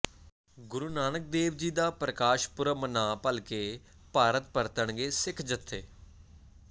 ਗੁਰੂ ਨਾਨਕ ਦੇਵ ਜੀ ਦਾ ਪ੍ਰਕਾਸ਼ ਪੁਰਬ ਮਨਾ ਭਲਕੇ ਭਾਰਤ ਪਰਤਣਗੇ ਸਿੱਖ ਜਥੇ